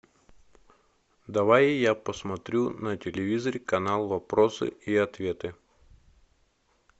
давай я посмотрю на телевизоре канал вопросы и ответы